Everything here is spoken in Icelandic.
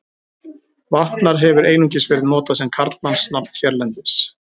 Vatnar hefur einungis verið notað sem karlmannsnafn hérlendis.